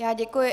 Já děkuji.